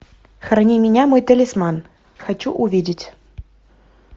храни меня мой талисман хочу увидеть